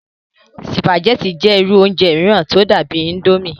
sùpàgẹ́tì jẹ́ irú oúnjẹ mìíràn tí ó dàbíi índómì